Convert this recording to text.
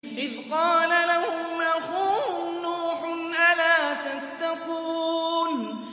إِذْ قَالَ لَهُمْ أَخُوهُمْ نُوحٌ أَلَا تَتَّقُونَ